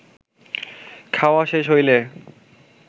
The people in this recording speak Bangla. খাওয়া শেষ হইলে